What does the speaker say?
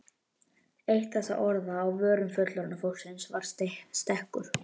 Eitt þessara orða á vörum fullorðna fólksins var stekkur.